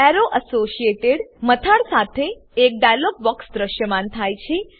arrow associated મથાળ સાથે એક ડાયલોગ બોક્સ દ્રશ્યમાન થાય છે